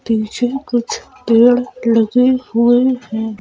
पीछे कुछ पेड़ लगे हुए हैं।